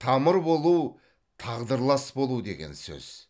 тамыр болу тағдырлас болу деген сөз